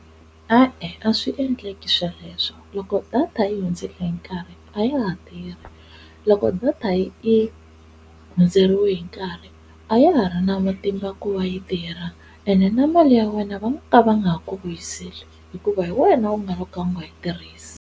E-e a swi endleki sweleswo loko data yi hundzele hi nkarhi a ya ha tirhi, loko data yi i hundzeriwe hi nkarhi a ya ha ri na matimba ku va yi tirha ende na mali ya wena va nga ka va nga ha ku vuyiseli hikuva hi wena u nga va ka u nga yi tirhisi.